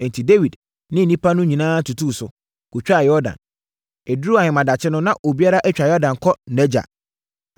Enti, Dawid ne nnipa no nyinaa tutuu so, kɔtwaa Yordan. Ɛduruu ahemadakye no, na obiara atwa Yordan kɔ nʼagya.